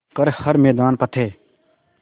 कर हर मैदान फ़तेह